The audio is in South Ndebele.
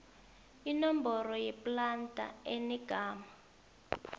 inomboro yeplada enegama